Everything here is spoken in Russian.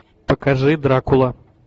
покажи дракула